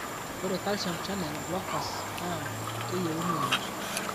ore calcium channel blockers naa keyioni oleng